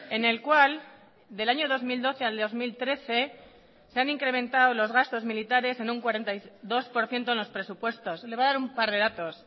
en el cual del año dos mil doce al año dos mil trece se han incrementado los gastos militares en un cuarenta y dos por ciento en los presupuestos le voy a dar un par de datos